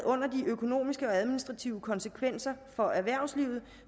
under de økonomiske og administrative konsekvenser for erhvervslivet